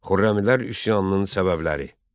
Xürrəmilər üsyanının səbəbləri.